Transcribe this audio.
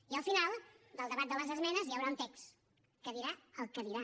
i al final del debat de les esmenes hi haurà un text que dirà el que dirà